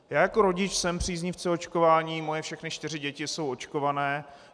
Já jako rodič jsem příznivcem očkování, moje všechny čtyři děti jsou očkované.